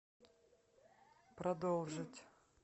продолжить